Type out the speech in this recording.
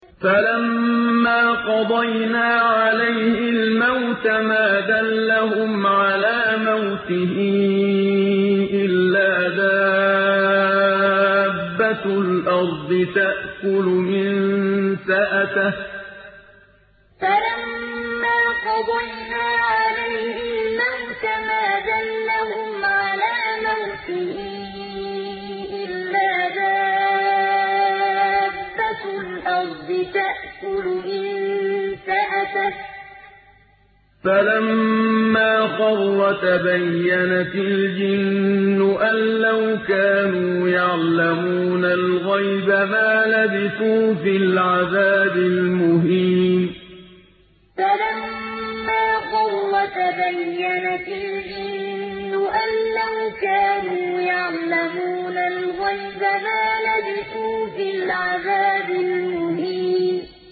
فَلَمَّا قَضَيْنَا عَلَيْهِ الْمَوْتَ مَا دَلَّهُمْ عَلَىٰ مَوْتِهِ إِلَّا دَابَّةُ الْأَرْضِ تَأْكُلُ مِنسَأَتَهُ ۖ فَلَمَّا خَرَّ تَبَيَّنَتِ الْجِنُّ أَن لَّوْ كَانُوا يَعْلَمُونَ الْغَيْبَ مَا لَبِثُوا فِي الْعَذَابِ الْمُهِينِ فَلَمَّا قَضَيْنَا عَلَيْهِ الْمَوْتَ مَا دَلَّهُمْ عَلَىٰ مَوْتِهِ إِلَّا دَابَّةُ الْأَرْضِ تَأْكُلُ مِنسَأَتَهُ ۖ فَلَمَّا خَرَّ تَبَيَّنَتِ الْجِنُّ أَن لَّوْ كَانُوا يَعْلَمُونَ الْغَيْبَ مَا لَبِثُوا فِي الْعَذَابِ الْمُهِينِ